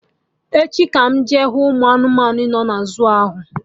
Echi ka m jee hụ ụmụ anụmanụ na zuu ahụ